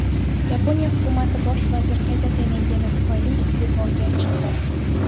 Yaponiya hukumati bosh vazir qayta saylangani tufayli iste’foga chiqdi.